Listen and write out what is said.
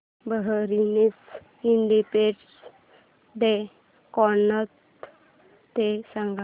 बहारीनचा independence day कोणता ते सांगा